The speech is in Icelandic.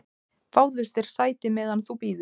"""Fáðu þér sæti, meðan þú bíður"""